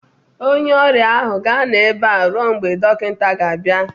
onye ọrịa ahụ ga-anọ ebe a ruo mgbe dọkịta ga-abịa